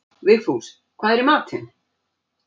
Vigfús, hvað er í matinn?